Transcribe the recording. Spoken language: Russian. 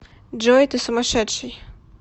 джой ты сумасшедший